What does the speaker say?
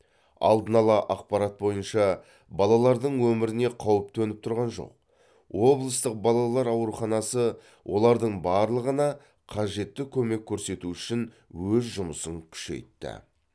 алдын ала ақапарт бойынша балалардың өміріне қауіп төніп тұрған жоқ облыстық балалар ауруханасы олардың барлығына қажетті көмек көрсету үшін өз жұмысын күшейтті